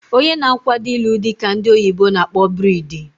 Onye na akwado ilu dị ka ndị oyibo na akpọ bridi